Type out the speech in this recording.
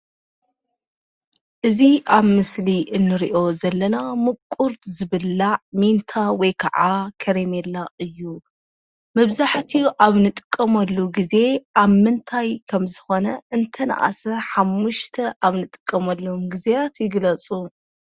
እዚ ኣብ ምስሊ እንሪኦ ዘለና ምቑር ዝብላዕ ሚንታ ወይ ከዓ ከረሜላ እዩ፡፡ መብዛሕትኡ ኣብ እንጥቀመሉ ግዘ ኣብ ምንታይ ከምዝኾነ እንተነኣሰ ሓሙሽተ ኣብ ንጥቀመሎም ግዜያት ይግለፁ?